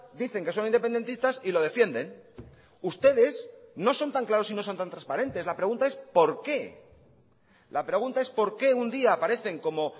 dicen que son independentistas y lo defienden ustedes no son tan claros y no son tan transparentes la pregunta es por qué la pregunta es por qué un día aparecen como